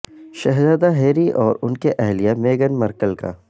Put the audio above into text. شہزادہ ہیری اور ان کی اہلیہ میگن مرکل کا